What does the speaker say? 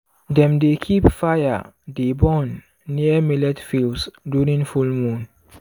dem dey keep fire dey burn near millet fields during full moon.